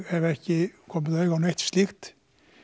hef ekki komið auga á neitt slíkt